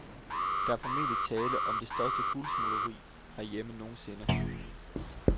Der er formentlig tale om det største guldsmugleri herhjemme nogensinde.